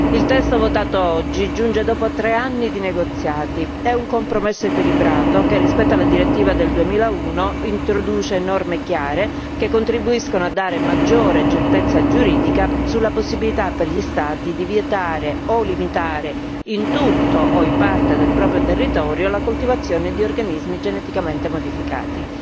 Il testo votato oggi giunge dopo tre anni di negoziati è un compromesso equilibrato, che rispetto alla direttiva del 2001 introduce norme chiare, che contribuiscono a dare maggiore certezza giuridica sulla possibilità per gli Stati di vietare o limitare, in tutto o in parte del proprio territorio, la coltivazione di organismi geneticamente modificati.